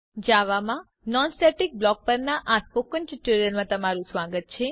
જાવામાં non static block પરના spoken ટ્યુટોરીયલમાં તમારું સ્વાગત છે